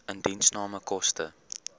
indiensname koste